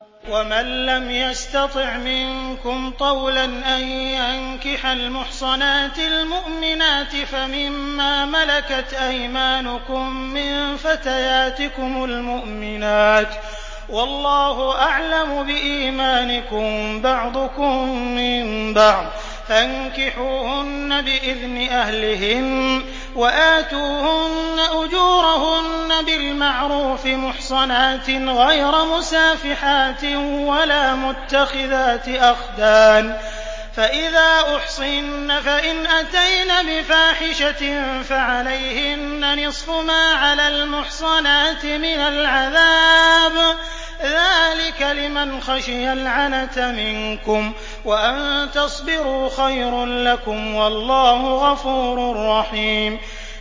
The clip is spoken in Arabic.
وَمَن لَّمْ يَسْتَطِعْ مِنكُمْ طَوْلًا أَن يَنكِحَ الْمُحْصَنَاتِ الْمُؤْمِنَاتِ فَمِن مَّا مَلَكَتْ أَيْمَانُكُم مِّن فَتَيَاتِكُمُ الْمُؤْمِنَاتِ ۚ وَاللَّهُ أَعْلَمُ بِإِيمَانِكُم ۚ بَعْضُكُم مِّن بَعْضٍ ۚ فَانكِحُوهُنَّ بِإِذْنِ أَهْلِهِنَّ وَآتُوهُنَّ أُجُورَهُنَّ بِالْمَعْرُوفِ مُحْصَنَاتٍ غَيْرَ مُسَافِحَاتٍ وَلَا مُتَّخِذَاتِ أَخْدَانٍ ۚ فَإِذَا أُحْصِنَّ فَإِنْ أَتَيْنَ بِفَاحِشَةٍ فَعَلَيْهِنَّ نِصْفُ مَا عَلَى الْمُحْصَنَاتِ مِنَ الْعَذَابِ ۚ ذَٰلِكَ لِمَنْ خَشِيَ الْعَنَتَ مِنكُمْ ۚ وَأَن تَصْبِرُوا خَيْرٌ لَّكُمْ ۗ وَاللَّهُ غَفُورٌ رَّحِيمٌ